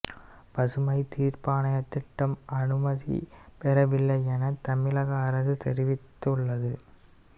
பசுமை தீர்ப்பாயத்திடம் அனுமதி பெறவில்லை எனவும் தமிழக அரசு தெரிவித்துள்ளது